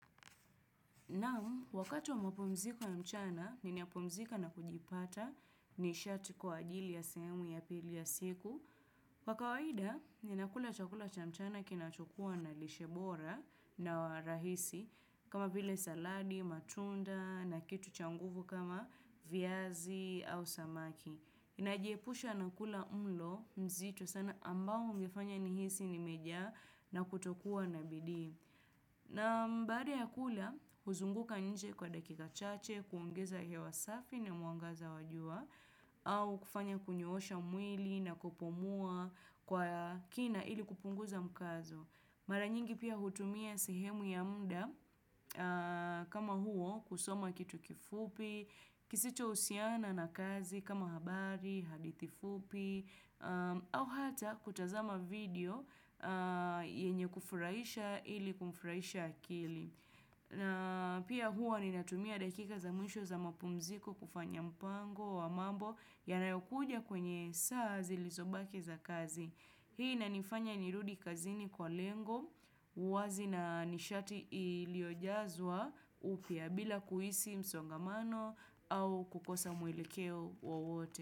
Naam, wakati wa mapumziko ya mchana, niniapumzika na kujipata nishati kwa ajili ya semu ya pili ya siku. Kwa kawaida, ninakula chakula cha mchana kinachukua na lishe bora na wa rahisi, kama vile saladi, matunda, na kitu cha nguvu kama viazi au samaki. Najiepusha na kula mlo mzito sana ambao ungefanya nihisi nimejaa na kutokuwa na bidii. Naam baada ya kula, huzunguka nje kwa dakika chache, kuongeza hewa safi na muangaza wa jua, au kufanya kunyoosha mwili na kupumua kwa kina ili kupunguza mkazo. Mara nyingi pia hutumia sehemu ya mda kama huo kusoma kitu kifupi, kisicho husiana na kazi kama habari, hadithi fupi, au hata kutazama video yenye kufurahisha ili kufurahisha akili. Pia hua ninatumia dakika za mwisho za mapumziko kufanya mpango wa mambo yanayokuja kwenye saa zilizobaki za kazi. Hii inanifanya nirudi kazini kwa lengo wazi na nishati iliyojazwa upya bila kuhisi msongamano au kukosa mwelekeo wowote.